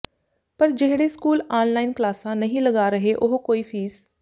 ਪਰ ਜਿਹੜੇ school online ਕਲਾਸਾਂ ਨਹੀਂ ਲਗਾ ਰਹੇ ਉਹ ਕੋਈ ਫ਼ੀਸ